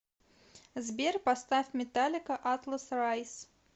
сбер поставь металлика атлас райз